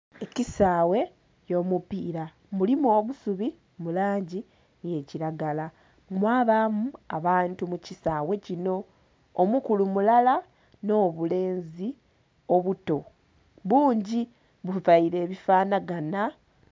Ekisaghe ekyomupira mulimu obusubi mulangi eya kiragala, mwabamu abantu mukisaghe kino omukulu mulala n'obulenzi obuto bungi buvaire ebifanhaganha.